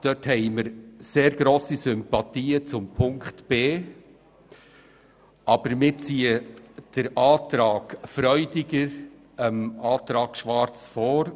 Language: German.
Diesbezüglich hegen wir grosse Sympathien für den Buchstaben b. Wir ziehen aber die Planungserklärung SVP/Freudiger jener der EDU vor.